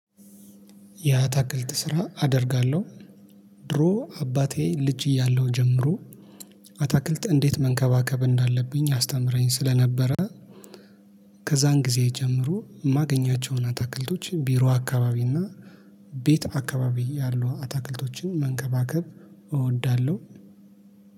ያአታክልት ስራ አደርጋለሁ። ድሮ አባቴ ልጅ እያለሁ ጀምሮ አታክልት እንዴት መንከባከብ እንዳለብኝ ያስተምረኝ ስለነበረ። ከዛን ጊዜ ጀምሮ የማገኛቸውን አታክልቶች ቢሮ አካባቢ እና ቤት አካባቢ ያሉ አታክልቶችን መንከባከብ እወዳለሁ